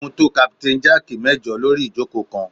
Ó mu tó Captain Jack mẹ́jọ lórí ìjókòó kan